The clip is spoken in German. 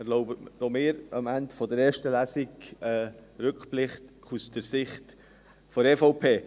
Erlauben Sie auch mir am Ende der ersten Lesung einen Rückblick aus Sicht der EVP.